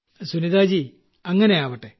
Sunita ji അങ്ങനെയാവട്ടെ